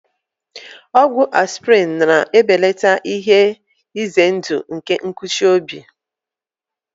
Ọgwụ aspịrịn na-ebelata ihe ize ndụ nke nkụchi obi.